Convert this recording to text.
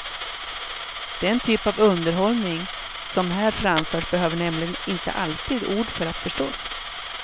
Den typ av underhållning som här framförs behöver nämligen inte alltid ord för att förstås.